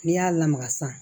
N'i y'a lamaga san